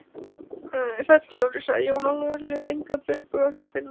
Sæll sjálfur, sagði Jón Ólafur og lét engan bilbug á sér finna.